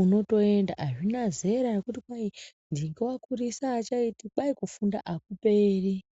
unotoenda. Hazvina zera rekuti kwai ndingi wakurisa haachaiti, kwai kufunda hakuperi.